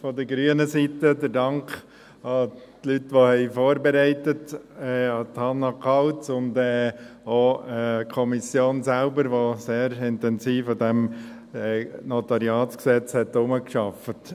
von grüner Seite der Dank an die Leute, die vorbereitet haben, an Hannah Kauz und auch an die Kommission selbst, die sehr intensiv an diesem NG gearbeitet hat.